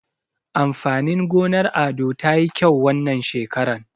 Amfanin gonar Ado tayi kyau wannan shekaran.